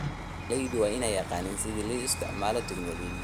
Beeraleydu waa inay yaqaaniin sida loo isticmaalo tignoolajiyada.